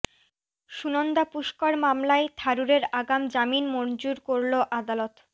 সুনন্দা পুষ্কর মামলায় থারুরের আগাম জামিন মঞ্জুর করল আদালত